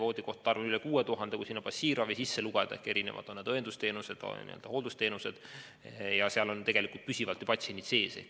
Voodikohtade arv on üle 6000 siis, kui passiivravi kaasa arvata ehk õendusteenused, hooldusteenused, ja seal on püsivalt patsiendid sees.